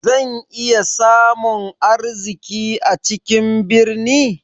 Zan iya samun arziki a cikin birni?